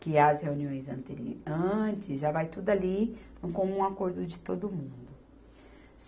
que as reuniões anteri, antes já vai tudo ali num comum acordo de todo mundo.